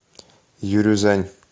юрюзань